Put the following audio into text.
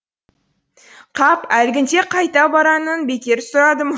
қап әлгінде қайта баранын бекер сұрадым